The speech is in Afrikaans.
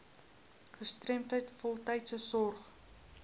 gestremdheid voltydse sorg